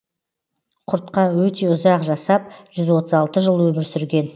құртқа өте ұзақ жасап жүз отыз алты жыл өмір сүрген